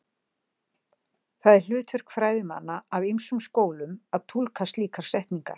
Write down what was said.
Það er hlutverk fræðimanna af ýmsum skólum að túlka slíkar setningar.